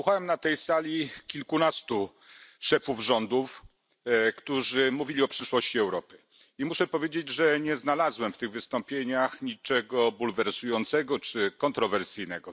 Wysłuchałem na tej sali kilkunastu szefów rządów, którzy mówili o przyszłości Europy, i muszę powiedzieć, że nie znalazłem w tych wystąpieniach niczego bulwersującego czy kontrowersyjnego.